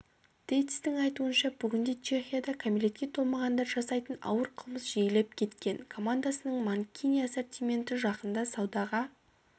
тейцтің айтуынша бүгінде чехияда кәмелетке толмағандар жасайтын ауыр қылмыс жиілеп кеткен командасының манкини ассортименті жақында саудаға